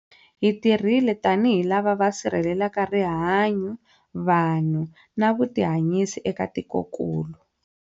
Hi tirhile tanihi lava va sirhelelaka rihanyu, vanhu na vutihanyisi eka tikokulu.